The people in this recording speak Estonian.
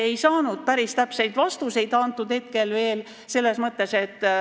Me ei saanud päris täpseid vastuseid.